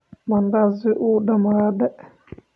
Mandazi wuu dhamaaday?